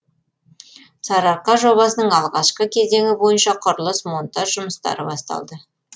сарыарқа жобасының алғашқы кезеңі бойынша құрылыс монтаж жұмыстары басталды